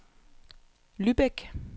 Lübeck